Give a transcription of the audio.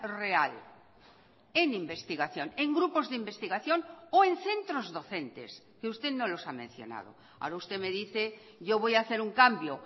real en investigación en grupos de investigación o en centros docentes que usted no los ha mencionado ahora usted me dice yo voy a hacer un cambio